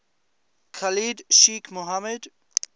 khalid sheikh mohammed